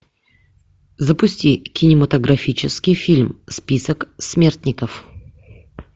запусти кинематографический фильм список смертников